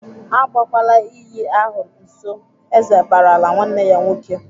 "Agakwala iyi ahụ nso!" Eze barala nwanne ya nwoke.